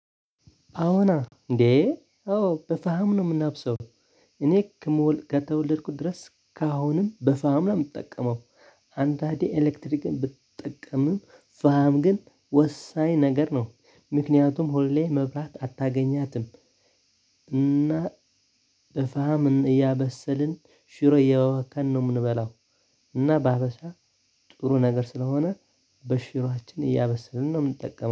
አዎና እንዴ አዎ በፈሃም ነው የምናብሰው። እኔ ከተወለድኩት ድረስ ካሁንም በፋም ነው የምትጠቀመው። አንዳዴ ኤሌክትሪክን ብትጠቀምም ፋም ግን ወሳኝ ነገር ነው። ምክንያቱም ሁሌ መብራት አታገኛትም። እና ፋም እያበሰልን ሽሮ እያወከን ነው የምንበላው። እና በአበሳ ጥሩ ነገር ስለሆነ በሽሩሃችን እያበሰልን ነው የምንጠቀመው